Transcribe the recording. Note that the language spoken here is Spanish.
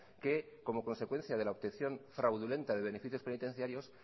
que como consecuencia de la obtención fraudulenta de beneficios penitenciarios